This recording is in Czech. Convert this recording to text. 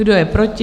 Kdo je proti?